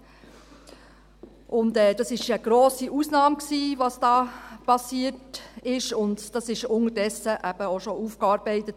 Was hier geschehen ist, war eine grosse Ausnahme und wurde unterdessen eben auch bereits aufgearbeitet.